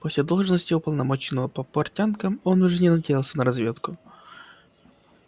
после должности уполномоченного по портянкам он уже не надеялся на разведку